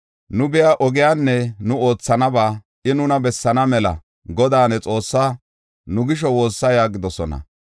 Nu biya ogiyanne nu oothanaba I nuna bessaana mela Godaa ne Xoossaa nu gisho woossa” yaagidosona.